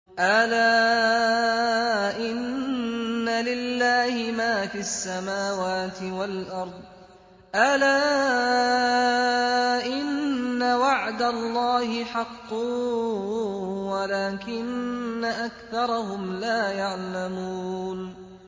أَلَا إِنَّ لِلَّهِ مَا فِي السَّمَاوَاتِ وَالْأَرْضِ ۗ أَلَا إِنَّ وَعْدَ اللَّهِ حَقٌّ وَلَٰكِنَّ أَكْثَرَهُمْ لَا يَعْلَمُونَ